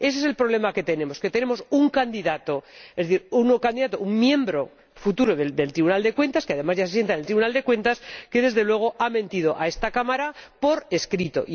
Ese es el problema que tenemos, que tenemos un candidato, un futuro miembro del Tribunal de Cuentas, que además ya se sienta en el Tribunal de Cuentas, que desde luego ha mentido a esta Cámara por escrito.